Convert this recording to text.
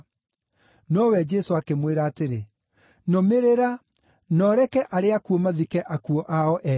Nowe Jesũ akĩmwĩra atĩrĩ, “Nũmĩrĩra, na ũreke arĩa akuũ mathike akuũ ao ene.”